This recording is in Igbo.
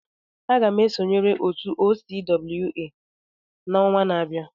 Aga m esonyere otu OCWA n'ọnwa na-abịa.